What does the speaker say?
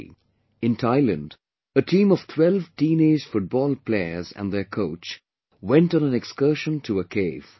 V... in Thailand a team of 12 teenaged football players and their coach went on an excursion to a cave